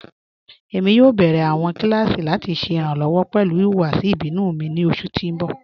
Ẹ̀mi yóò bẹ̀rẹ̀ awọn kilasí lati ṣẹ iranlọ́wọ pẹlu ihuwasi ibinu mi ni oṣù tí n bọ̀.